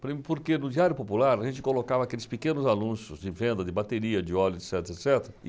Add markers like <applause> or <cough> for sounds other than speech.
<unintelligible> Porque no Diário Popular a gente colocava aqueles pequenos anúncios de venda de bateria, de óleo, et cetera, et cetera.